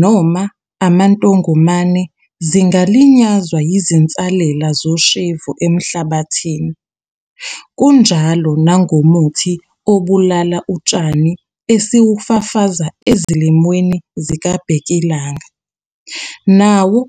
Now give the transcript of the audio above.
noma amantongomane zingalinyazwa yizinsalela zoshevu emhlabathini. Kunjalo nangomuthi obulala utshani esiwufafaza ezilimweni zikabhekilanga, nawo